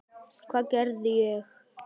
Hvað gerði ég?